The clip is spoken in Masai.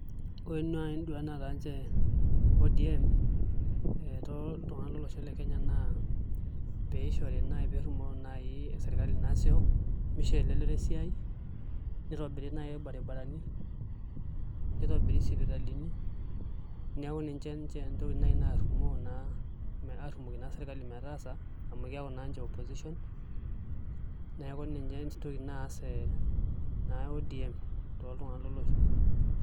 Ore nai nduat naata ninche ODM ee toltung'anak lolosho le Kenya naa pee errumoo naai sirkali nasisho moshoo elelero esiai nitobiri naai irbaribarani nitobiri isipitalini neeku ninche ntokitin naarrimoo aarrumoki naai sirkali metaasa amu keeku naa ninche opposition neeku ninye entoki naas naa ODM toltung'anak leele osho.